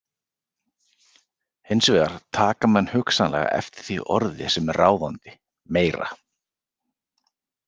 Hins vegar taka menn hugsanlega eftir því orði sem er ráðandi: Meira!